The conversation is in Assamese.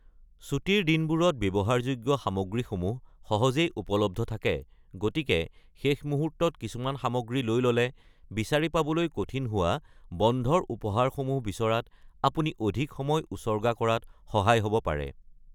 ছুটীৰ দিনবোৰত ব্যৱহাৰযোগ্য সামগ্ৰীসমূহ সহজেই উপলব্ধ থাকে, গতিকে শেষ মুহূৰ্তত কিছুমান সামগ্ৰী লৈ ল’লে বিচাৰি পাবলৈ কঠিন হোৱা বন্ধৰ উপহাৰসমূহ বিচৰাত আপুনি অধিক সময় উচৰ্গা কৰাত সহায় হব পাৰে।